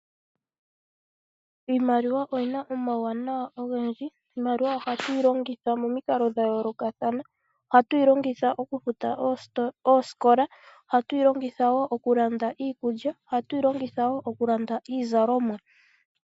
Iimaliwa oyi na omawuwanawa ogendji. Iimaliwa ohatu yi longitha momikalo dha yoolokathana. Ohatu yi longitha okufuta oosikola, ohatu yi longitha wo okulanda iikulya, ohagu yi longitha wo okulanda iizalomwa.